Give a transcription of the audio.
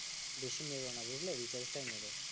বেশি মেরো না বুঝলে রিচার্জ টাই মেরো